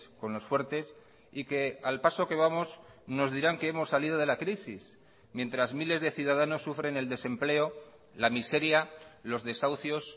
con los fuertes y que al paso que vamos nos dirán que hemos salido de la crisis mientras miles de ciudadanos sufren el desempleo la miseria los desahucios